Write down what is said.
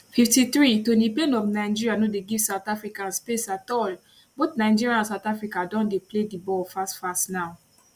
53 toni payne of nigeria no dey give south africans space at all both nigeria and south africa don dey play di ball fast fast now